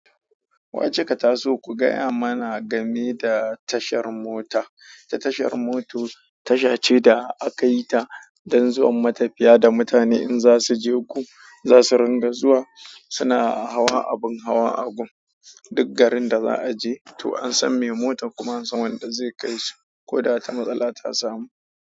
Wace ka ta so ku gaya mana game da tashar mota? Ta tashar moto tasha ce da aka yi ta don zuwan matafiya da mutane in za su je gu za su ringa zuwa. Suna hawa abin hawa a gun dik garin da za'aje to ansan me motan kuma ansan wanda zekai shi koda wata matsala ta samu.